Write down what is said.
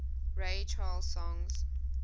ray charles songs